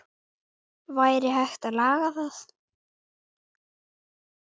Væri hægt að laga það?